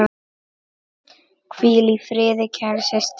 Hvíl í friði, kæra systir.